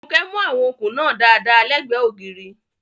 Funke mú àwọn okùn náà dáadáa lẹ́gbẹ̀ẹ́ ògiri.